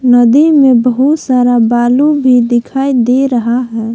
नदी में बहुत सारा बालू भी दिखाई दे रहा है।